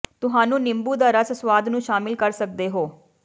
ਤੁਹਾਨੂੰ ਨਿੰਬੂ ਦਾ ਰਸ ਸੁਆਦ ਨੂੰ ਸ਼ਾਮਿਲ ਕਰ ਸਕਦੇ ਹੋ